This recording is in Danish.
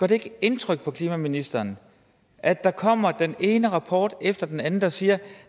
det ikke indtryk på klimaministeren at der kommer den ene rapport efter den anden der siger at